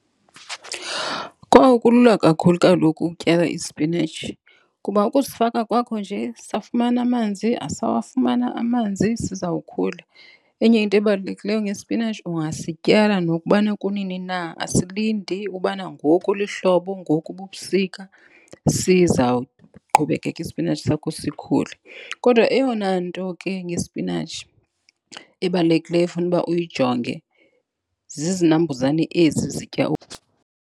Kowu, kulula kakhulu kaloku ukutyala ispinatshi kuba ukusifaka kwakho nje safumana amanzi, asawafumana amanzi sizawukhula. Enye into ebalulekileyo ngespinatshi ungasityala nokubana kunini na. Asilindi ubana ngoku lihlobo, ngoku bubusika, sizawuqhubekeka ispinatshi sakho sikhule. Kodwa eyona nto ke ngespinatshi ebalulekileyo efuna uba uyijonge zizinambuzane ezi zitya .